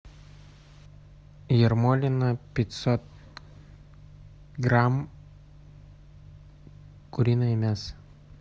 ермолино пятьсот грамм куриное мясо